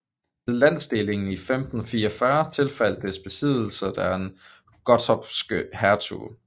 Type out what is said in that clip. Ved landsdelingen i 1544 tilfaldt dets besiddelser den gottorpske hertug